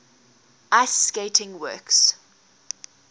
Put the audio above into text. ice skating works